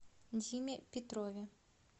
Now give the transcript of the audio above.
диме петрове